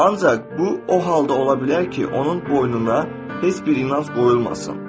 Ancaq bu o halda ola bilər ki, onun boynuna heç bir inanc qoyulmasın.